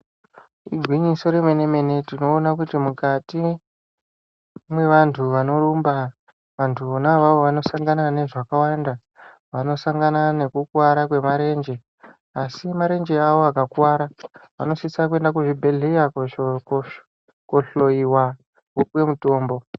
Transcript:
Igwinyiso remene-mene tinoona kuti mukati mwevantu vanorumba, vantu vona avavo vanosangana nezvakawanda, vanosangana nekukuwara kwemarenje, asi marenje avo akakuwara, vanosisa kuyenda kuzvibhedhleya kohloyiwa vopuwe mutombo.